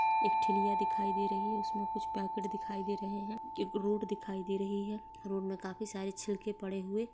एक ठिलिया दिखाई दे रही है। उसमें कुछ पॉकेट दिखाई दे रहे हैं। एक रोड दिखाई दे रही है। रोड में काफी सारे छिलके पड़े हुए --